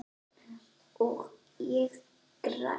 Og ég græt.